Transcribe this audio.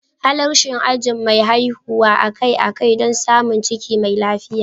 Halarci ajin masu haihuwa akai-akai don samun ciki mai lafiya.